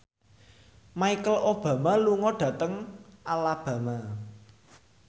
Michelle Obama lunga dhateng Alabama